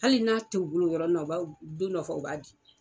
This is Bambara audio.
Hali n'a t'u bolo o yɔrɔnin na, u bi don dɔ fɔ u b'a di.